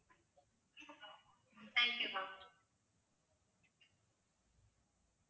thank you ma'am